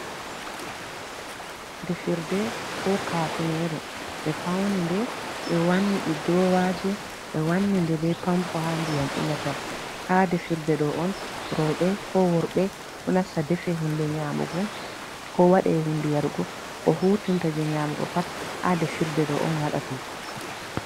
Defirde koo kaateneeru ɓe fawni nde ɓe wanni ɗi duroowaaji, ɓe wanni nde bee pampo haa ndiyam ilata haa defirde ɗoo on rowɓe koo worɓe ɗo nasta defe huunde nyaamugo, koo waɗe huunde yarugo, koo huutirta jey nyaamugo pat ha defirde ɗoo on waɗate.